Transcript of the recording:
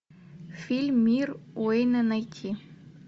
фильм мир уэйна найти